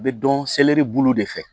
U bɛ dɔn seleri bulu de fɛ